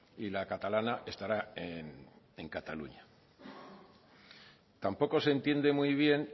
y la catalana estará en cataluña tampoco se entiende muy bien